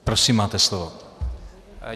Prosím, máte slovo.